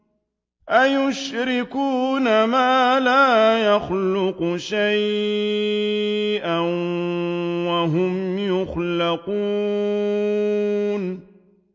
أَيُشْرِكُونَ مَا لَا يَخْلُقُ شَيْئًا وَهُمْ يُخْلَقُونَ